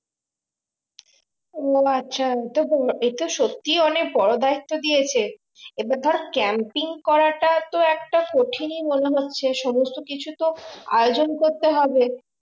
ও আচ্ছা এটা সত্যি অনেক বড়ো দায়িত্ব দিয়েছে এবার ধরে camping করাটা তো একটা কঠিনই মনে হচ্ছে সমস্ত কিছু তো আয়োজন করতে হবে